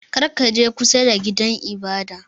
Kar ka je kusa da gidan ibada!